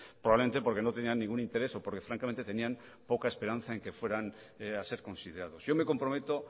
probablemente porque no tenían ningún interés o porque francamente tenían poca esperanza en que fueran a ser considerados yo me comprometo